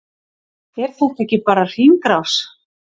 Er þetta ekki bara hringrás?